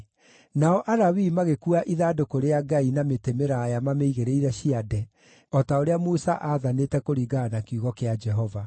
Nao Alawii magĩkuua ithandũkũ rĩa Ngai na mĩtĩ mĩraaya mamĩigĩrĩire ciande, o ta ũrĩa Musa aathanĩte kũringana na kiugo kĩa Jehova.